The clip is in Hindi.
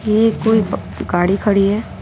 ये कोई गाड़ी खड़ी है।